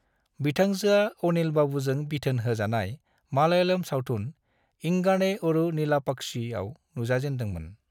बिथांजोआ अनिल-बाबूजों बिथोन होजानाय मलयालम सावथुन 'इंगाने ओरु नीलापाक्षी' आव नुजाजेनदोंमोन।